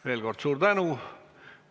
Veel kord suur tänu!